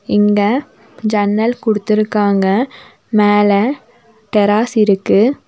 இங்க ஜன்னல் குடுத்துருக்காங்க மேல டெராஸ் இருக்கு.